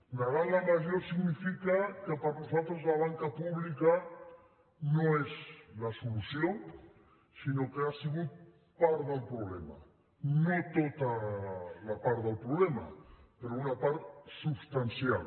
negant la major significa que per nosaltres la banca pública no és la solució sinó que ha sigut part del problema no tota la part del problema però una part substancial